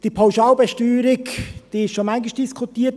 Die Pauschalbesteuerung wurde schon oft diskutiert.